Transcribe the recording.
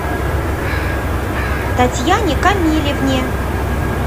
татьяне камилевне